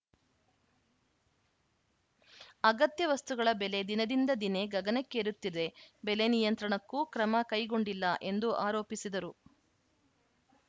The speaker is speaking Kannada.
ಅಗತ್ಯ ವಸ್ತುಗಳ ಬೆಲೆ ದಿನದಿಂದ ದಿನೇ ಗಗನಕ್ಕೇರುತ್ತಿದೆ ಬೆಲೆ ನಿಯಂತ್ರಣಕ್ಕೂ ಕ್ರಮ ಕೈಗೊಂಡಿಲ್ಲ ಎಂದು ಆರೋಪಿಸಿದರು